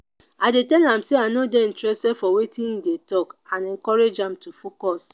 i dey tell am say i no dey interested for wetin e dey talk and encourage am to focus.